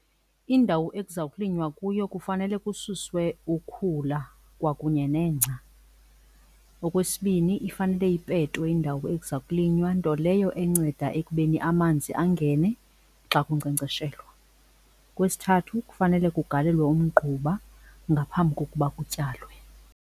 Indawo ekuza kulinywa kuyo kufanele kususwe ukhula kwakunye nengca. Okwesibini ifanele ipetwe indawo ekuza kulinywa, nto leyo enceda ekubeni amanzi angene xa kunkcenkceshelwa. Okwesithathu kufanele kugalelwe umgquba ngaphambi kokuba kutyalwe.